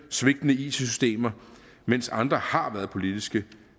svigtende it systemer mens andre har været politiske